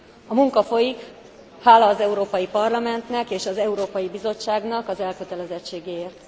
A munka folyik, hála az Európai Parlamentnek és az Európai Bizottságnak az elkötelezettségéért.